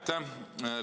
Aitäh!